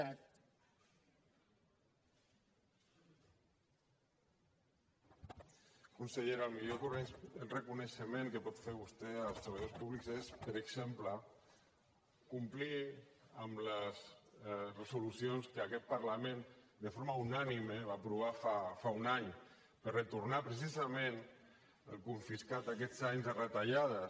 consellera el millor reconeixement que pot fer vostè als treballadors públics és per exemple complir les resolucions que aquest parlament de forma unànime va aprovar fa un any per retornar precisament el confiscat aquests anys de retallades